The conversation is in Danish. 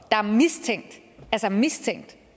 der mistænkt og